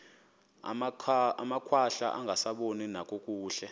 amakhwahla angasaboni nakakuhle